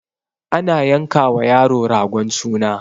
ana yanka wa yaro ragon suna